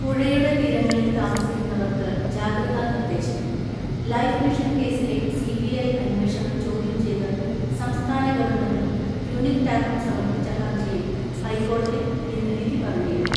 പുഴയുടെ തീരങ്ങളിൽ താമസിക്കുന്നവർക്ക് ജാഗ്രതാ നിർദ്ദേശം ലൈഫ് മിഷൻ കേസിലെ സിബിഐ അന്വേഷണം ചോദ്യം ചെയ്ത് സംസ്ഥാന ഗവൺമെന്റും, യൂണിക് ടാകും സമർപ്പിച്ച ഹർജിയിൽ ഹൈക്കോടതി ഇന്ന് വിധി പറഞ്ഞേക്കും.